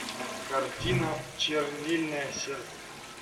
картина чернильное сердце